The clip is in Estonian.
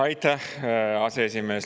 Aitäh, aseesimees!